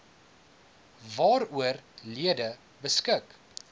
waaroor lede beskik